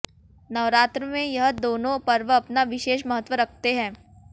नवरात्र में यह दोनों पर्व अपना विशेष महत्व रखते हैं